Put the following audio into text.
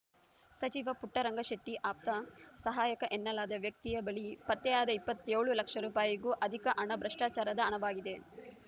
ಸಚಿವ ಪುಟ್ಟರಂಗಶೆಟ್ಟಿಆಪ್ತ ಸಹಾಯಕ ಎನ್ನಲಾದ ವ್ಯಕ್ತಿಯ ಬಳಿ ಪತ್ತೆಯಾದ ಇಪ್ಪತ್ತೇಳು ಲಕ್ಷ ರೂಪಾಯಿಗೂ ಅದಿಕ ಹಣ ಭ್ರಷ್ಚಾಚಾರದ ಹಣವಾಗಿದೆ